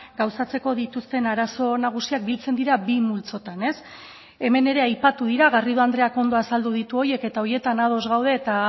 gauzatzeko dituzten arazo nagusiak biltzen dira bi multzotan hemen ere aipatu dira garrido andreak ondo azaldu ditu horiek eta horietan ados gaude eta